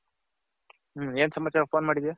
ಹ ಎನ್ ಸಮಾಚಾರ phone ಮಾಡಿದ್ಯ .